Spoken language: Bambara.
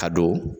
Ka don